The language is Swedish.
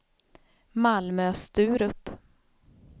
Malmö-Sturup